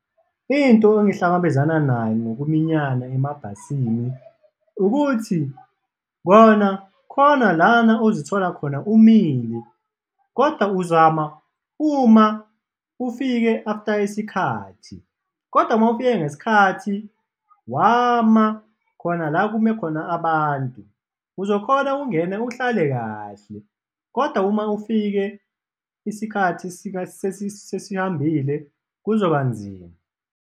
Into engihlangabezana nayo ngokuminyana emabhasini ukuthi kona khona lana ozithola khona umile kodwa uzama uma ufike after isikhathi. Kodwa uma ufike ngesikhathi, wama khona la kume khona abantu, uzokhona ukungena uhlale kahle kodwa uma ufike isikhathi sesihambile kuzobanzima.